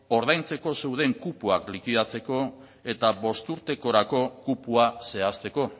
ordaintzako zeuden kupoak likidatzeko eta bost urtekorako kupoa zehazteko